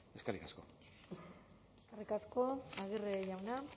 eskerrik asko eskerrik asko aguirre jauna